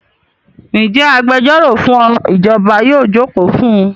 Ǹjẹ́ agbẹjọ́rọ̀ fún ìjọba yóò jókòó fún un?